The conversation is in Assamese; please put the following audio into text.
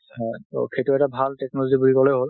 হয়। ট সেইটো এটা ভাল technology বুলি কলে হল।